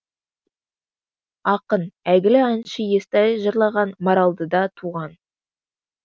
ақын әйгілі әнші естай жырлаған маралдыда туған